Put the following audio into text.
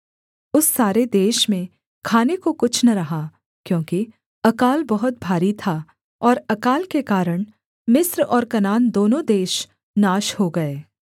उस सारे देश में खाने को कुछ न रहा क्योंकि अकाल बहुत भारी था और अकाल के कारण मिस्र और कनान दोनों देश नाश हो गए